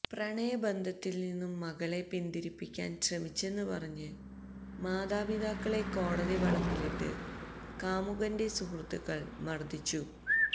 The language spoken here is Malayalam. പ്രണയബന്ധത്തിൽ നിന്നും മകളെ പിന്തിരിപ്പിക്കാൻ ശ്രമിച്ചെന്ന് പറഞ്ഞു മാതാപിതാക്കളെ കോടതിവളപ്പിലിട്ട് കാമുകന്റെ സുഹൃത്തുക്കൾ മർദ്ദിച്ചു